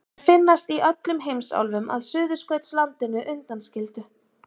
Þær finnast í öllum heimsálfum að Suðurskautslandinu undanskildu.